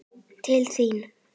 Til þín.